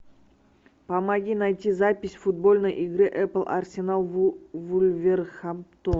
помоги найти запись футбольной игры апл арсенал вулверхэмптон